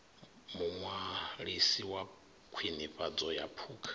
muṅwalisi wa khwinifhadzo ya phukha